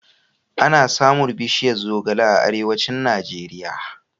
Ana samun bishiyar zogale a Arewacin Najeriya.